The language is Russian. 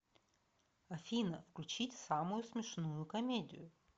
афина включить самую смешную комедию